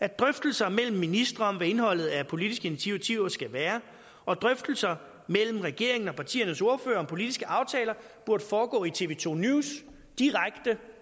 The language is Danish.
at drøftelser mellem ministre om hvad indholdet af politiske initiativer skal være og at drøftelser mellem regeringen og partiernes ordførere om politiske aftaler burde foregå i tv2 news direkte